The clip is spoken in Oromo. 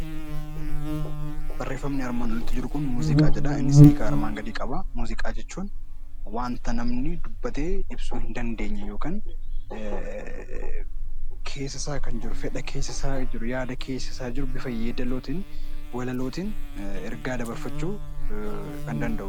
Barreeffamni armaan olitti mul'atu kun 'Muuziqaa' jedha. Innis hiika armaan gadii qaba. Muuziqaa jechuun wanta namni dubbatee ibsuu hin dandeenye yookaan keessa isaa kan jiru, fedha keessa isaa jiru, yaada keessa isaa jiru bifa yeedaloo tiin, walaloo tiin ergaa dabarfachuu kan danda'u dha.